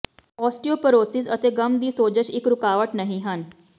ਓਸਟੀਓਪਰੋਰਰੋਵਸਸ ਅਤੇ ਗੱਮ ਦੀ ਸੋਜਸ਼ ਇੱਕ ਰੁਕਾਵਟ ਨਹੀ ਹਨ